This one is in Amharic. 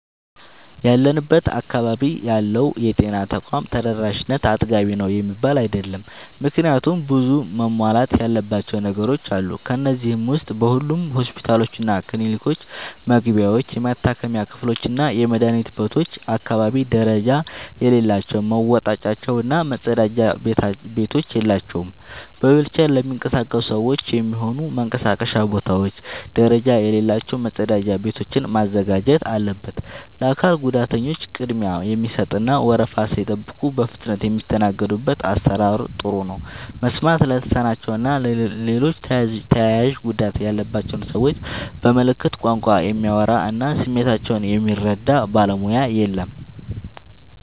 ያለንበት አካባቢ ያለው የጤና ተቋም ተደራሽነት አጥጋቢ ነው የሚባል አይደለም። ምክንያቱም ብዙ መሟላት ያለባቸው ነገሮች አሉ። ከነዚህ ዉስጥ በሁሉም ሆስፒታሎችና ክሊኒኮች መግቢያዎች፣ የመታከሚያ ክፍሎችና የመድኃኒት ቤቶች አካባቢ ደረጃ የሌላቸው መወጣጫዎች እና መጸዳጃ ቤቶች የላቸውም። በዊልቸር ለሚንቀሳቀሱ ሰዎች የሚሆኑ መንቀሳቀሻ ቦታዎች ደረጃ የሌላቸው መጸዳጃ ቤቶችን ማዘጋጀት አለበት። ለአካል ጉዳተኞች ቅድሚያ የሚሰጥ እና ወረፋ ሳይጠብቁ በፍጥነት የሚስተናገዱበት አሰራር ጥሩ ነው። መስማት ለተሳናቸው እና ሌሎች ተያያዥ ጉዳት ያለባቸውን ሰዎች በምልክት ቋንቋ የሚያወራ እና ስሜታቸውን የሚረዳ ባለሙያ የለም።